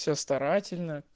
все старательно